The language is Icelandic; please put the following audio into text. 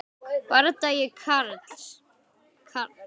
Bardagi Karls